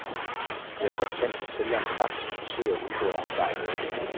Det er for eksempel sælgerens ret at forsøge at udbedre en fejl.